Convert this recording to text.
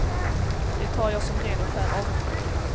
Det tar jag som ren och skär avundsjuka.